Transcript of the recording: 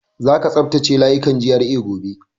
Za ka tsaftace layukan GRA gobe!